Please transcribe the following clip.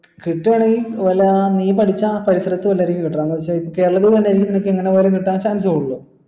കിട്ടുവാണെങ്കി വല്ല നീ പഠിച്ച ആ പരിസരത്തു വല്ലോ ആയിരിക്കും കീട്ടണം പക്ഷെ കേരളത്തിൽ തന്നെ നിനക്കു എങ്ങനെ പോയാലും കിട്ടാൻ